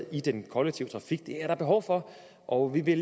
i den kollektive trafik det er der behov for og vi